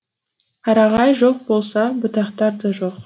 қарағай жоқ болса бұтақтар да жоқ